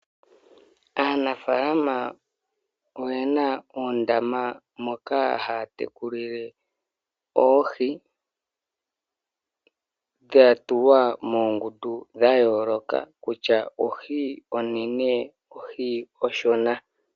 Aanafalama oyena oondama moka haya tekulile oohi dhatulwa moongundu dhayooloka kusha ohi onene nenge ohi oshona.